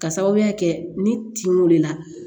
Ka sababuya kɛ ni tinw de la